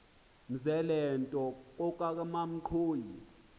mzela nto kokamanxhoyi